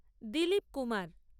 Dilip Kumar